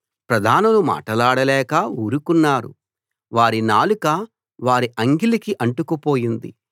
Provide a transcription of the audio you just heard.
ప్రధానులు మాటలాడక ఊరుకున్నారు వారి నాలుక వారి అంగిలికి అంటుకుపోయింది